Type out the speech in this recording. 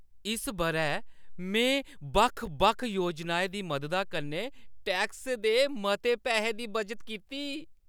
इस बʼरै मैं बक्ख-बक्ख योजनाएं दी मददा कन्नै टैक्स दे मते पैसे दी बचत कीती।